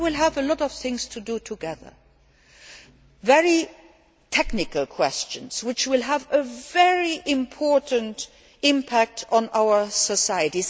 We will have many things to do together very technical questions, which will have a very important impact on our society.